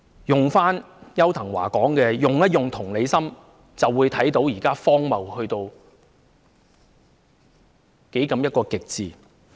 用回邱騰華的話"用同理心"，我們就會看到現時的情況荒謬到極點。